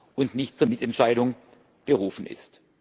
und nicht zur Mitentscheidung berufen ist.